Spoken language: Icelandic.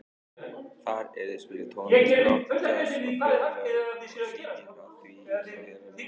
Þar yrði spiluð tónlist, rokk, djass og þjóðlög, og sígild ef því var að skipta.